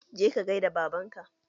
Je ka gaida da baban ka!